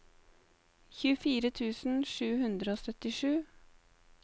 tjuefire tusen sju hundre og syttisju